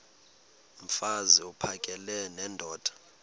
mfaz uphakele nendoda